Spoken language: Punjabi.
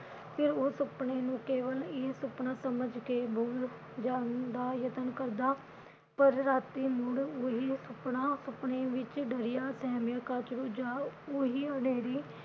ਫਿਰ ਉਹ ਸੁਪਨੇ ਨੂੰ ਕੇਵਲ ਇਹ ਸੁਪਨਾ ਸਮਝ ਕੇ ਭੁਲ ਜਾਂਦਾ ਯਤਨ ਕਰਦਾ ਪਰ ਰਾਤੀ ਮੁੜ ਉਹੀ ਸੁਪਨਾ ਸੁਪਨੇ ਵਿਚ ਡਰਿਆ ਸਹਿਮਿਆ ਜਾਂ ਉਹੀ ਹਨੇਰੀ